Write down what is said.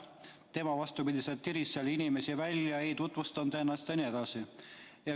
Tema, vastupidi, tiris inimesi välja, ei tutvustanud ennast jne.